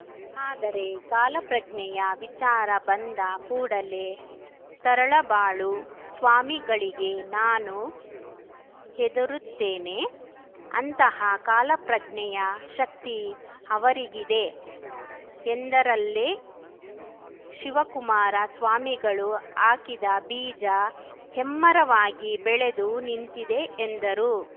ಆದರೆ ಕಾಲಪ್ರಜ್ಞೆಯ ವಿಚಾರ ಬಂದ ಕೂಡಲೇ ತರಳಬಾಳು ಸ್ವಾಮಿಗಳಿಗೆ ನಾನು ಹೆದರುತ್ತೇನೆ ಅಂತಹ ಕಾಲಪ್ರಜ್ಞೆಯ ಶಕ್ತಿ ಅವರಿಗಿದೆ ಎಂದರಲ್ಲೇ ಶಿವಕುಮಾರ ಸ್ವಾಮಿಗಳು ಹಾಕಿದ ಬೀಜ ಹೆಮ್ಮರವಾಗಿ ಬೆಳೆದು ನಿಂತಿದೆ ಎಂದರು